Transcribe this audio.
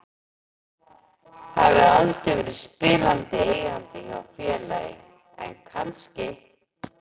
Það hefur aldrei verið spilandi eigandi hjá félagi en kannski?